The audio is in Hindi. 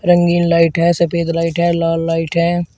रंगीन लाइट है सफेद लाइट है लाल लाइट है।